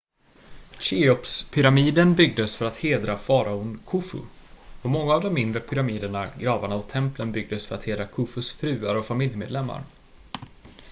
cheopspyramiden byggdes för att hedra faraon khufu och många av de mindre pyramiderna gravarna och templen byggdes för att hedra khufus fruar och familjemedlemmar